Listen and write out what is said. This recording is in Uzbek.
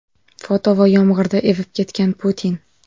Foto va yomg‘irda ivib ketgan Putin.